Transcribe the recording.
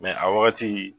a wagati